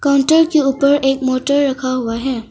Counter के ऊपर एक मोटर रखा हुआ है।